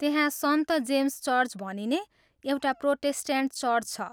त्यहाँ सन्त James church भनिने एउटा प्रोटेस्ट्यान्ट चर्च छ।